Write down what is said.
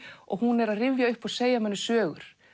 og hún er að rifja upp og segja manni sögur